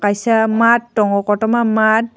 kaisa mat tongo kotoma mat.